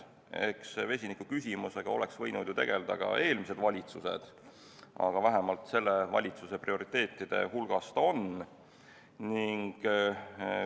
Eks vesinikuküsimusega oleks võinud ju tegelda ka eelmised valitsused, aga vähemalt selle valitsuse prioriteetide hulgas see on.